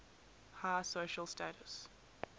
high social status